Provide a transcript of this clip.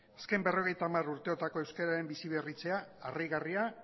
azken berrogeita hamar urteotako euskeraren biziberritzea harrigarria